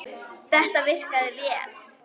Þetta virkaði vel.